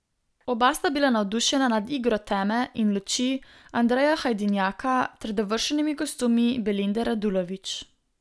Oba sta bila navdušena nad igro teme in luči Andreja Hajdinjaka ter dovršenimi kostumi Belinde Radulović.